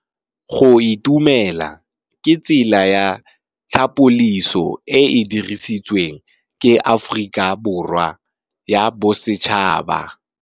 Go itumela ke tsela ya tlhapolisô e e dirisitsweng ke Aforika Borwa ya Bosetšhaba.